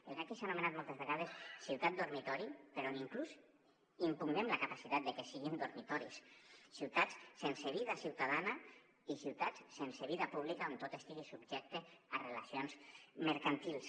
el que aquí s’ha anomenat moltes vegades ciutat dormitori però on inclús impugnem la capacitat de que siguin dormitoris ciutats sense vida ciutadana i ciutats sense vida pública on tot estigui subjecte a relacions mercantils